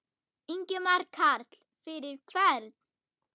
Ingimar Karl: Fyrir hvern?